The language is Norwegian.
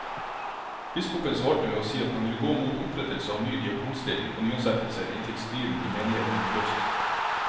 Biskopen svarte med å si at han ville gå mot opprettelse av ny diakonstilling og nyansettelser inntil striden i menigheten var løst.